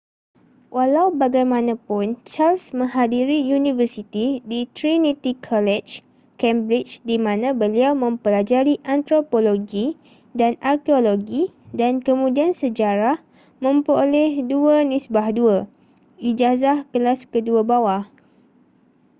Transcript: walau bagaimanapun charles menghadiri universiti di trinity college cambridge di mana beliau mempelajari antropologi dan arkeologi dan kemudian sejarah memperoleh 2:2 ijazah kelas kedua bawah